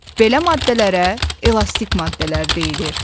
Belə maddələrə elastik maddələr deyilir.